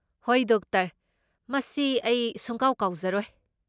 ꯍꯣꯏ, ꯗꯣꯛꯇꯔ! ꯃꯁꯤ ꯑꯩ ꯁꯨꯡꯀꯥꯎ ꯀꯥꯎꯖꯔꯣꯏ꯫